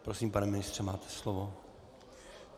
Prosím, pane ministře, máte slovo.